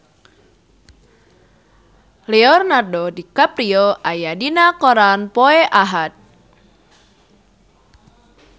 Leonardo DiCaprio aya dina koran poe Ahad